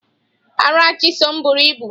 Ara Chisom buru ibu.